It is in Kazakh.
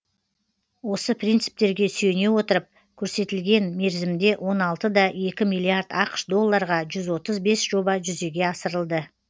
осы принциптерге сүйене отырып көрсетілген мерзімде он алты да екі миллиард ақш долларға жүз отыз бес жоба жүзеге асырылды